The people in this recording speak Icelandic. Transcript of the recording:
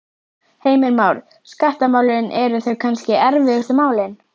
Heimir Már: Skattamálin, eru þau kannski erfiðustu málin?